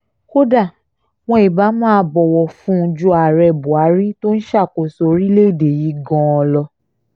kódà wọn ibà máa bọ̀wọ̀ fún un ju ààrẹ buhari tó ń ṣàkóso orílẹ̀‐èdè yìí gan-an lọ